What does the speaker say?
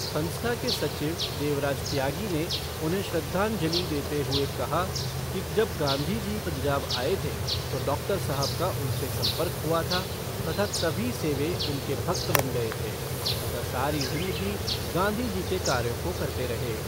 संस्था के सचिव देवराज त्यागी ने उन्हें श्रद्धांजली देते हुए कहा कि जब गांधी जी पंजाब आए थे तो डॉक्टर साहब का उनसे सम्पर्क हुआ था तथा तभी से वे उनके भक्त बन गए थे तथा सारी जिंदगी गांधी जी के कार्यों को करते रहे।